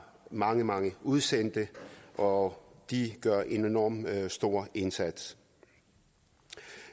mange mange udsendte og de gør en enormt stor indsats